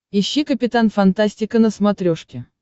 ищи капитан фантастика на смотрешке